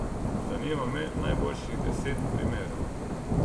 Zanima me najboljših deset primerov.